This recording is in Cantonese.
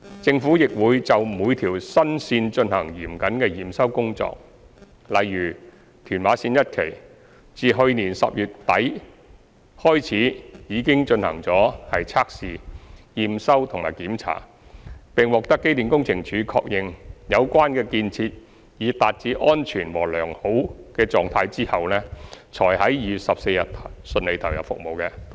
政府亦會就每條新線進行嚴謹的驗收工作，例如屯馬綫一期，自去年10月底開始已進行測試、驗收和檢查，並獲機電工程署確認有關建設已達至安全和良好的狀態後，才於2月14日順利投入服務。